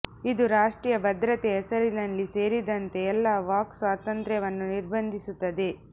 ಇದು ರಾಷ್ಟ್ರೀಯ ಭದ್ರತೆಯ ಹೆಸರಿನಲ್ಲಿ ಸೇರಿದಂತೆ ಎಲ್ಲಾ ವಾಕ್ ಸ್ವಾತಂತ್ರ್ಯವನ್ನು ನಿರ್ಬಂಧಿಸುತ್ತದೆ